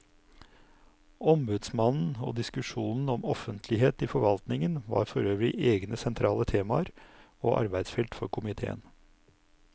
Ombudsmannen og diskusjonen om offentlighet i forvaltningen var forøvrig egne sentrale temaer og arbeidsfelt for komiteen.